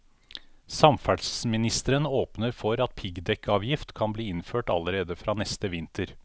Samferdselsministeren åpner for at piggdekkavgift kan bli innført allerede fra neste vinter.